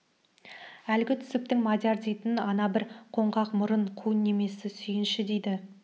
әлгі түсіптің мадияр дейтін ана бір қоңқақ мұрын қу немесі сүйінші дейді